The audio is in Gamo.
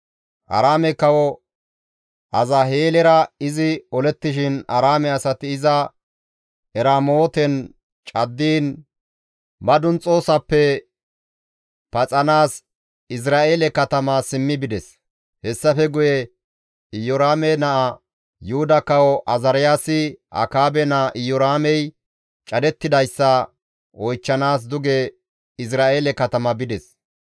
Aaraame Kawo Azaheelera izi olettishin Aaraame asati iza Eramooten caddiin madunxoyssafe paxanaas Izra7eele katama simmi bides. Hessafe guye Iyoraame naa Yuhuda Kawo Azaariyaasi Akaabe naa Iyoraamey cadettidayssa oychchanaas duge Izra7eele katama bides.